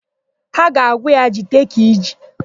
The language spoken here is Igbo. Ha ga-agwa ya, "jide ka i ji"!